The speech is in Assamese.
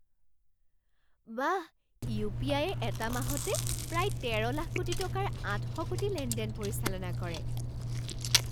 বাহ! ইউ পি আই য়ে এটা মাহতে প্ৰায় তেৰ লাখ কোটি টকাৰ আঠ শ কোটি লেনদেন পৰিচালনা কৰে।